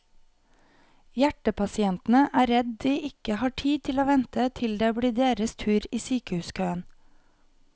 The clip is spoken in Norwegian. Hjertepasientene er redd de ikke har tid til å vente til det blir deres tur i sykehuskøen.